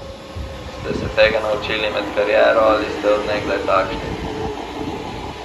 Ste se tega naučili med kariero ali ste od nekdaj takšni?